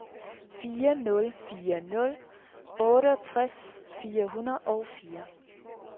fire nul fire nul otteogtres fire hundrede og fire